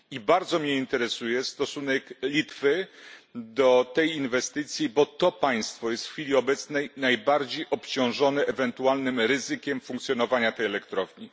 I bardzo mnie interesuje stosunek Litwy do tej inwestycji, gdyż to państwo jest w chwili obecnej najbardziej obciążone ewentualnym ryzykiem funkcjonowania tej elektrowni.